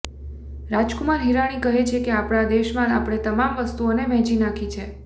રાજકુમાર હીરાણી કહે છે કે આપણા દેશમાં આપણે તમામ વસ્તુઓને વહેંચી નાખી છે